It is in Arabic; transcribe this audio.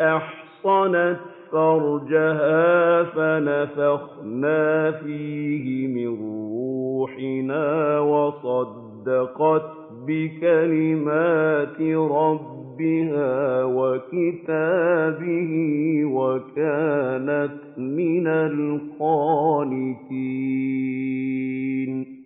أَحْصَنَتْ فَرْجَهَا فَنَفَخْنَا فِيهِ مِن رُّوحِنَا وَصَدَّقَتْ بِكَلِمَاتِ رَبِّهَا وَكُتُبِهِ وَكَانَتْ مِنَ الْقَانِتِينَ